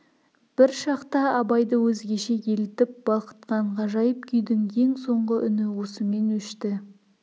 бір шақта абайды өзгеше елітіп балқытқан ғажайып күйдің ең соңғы үні осымен өшті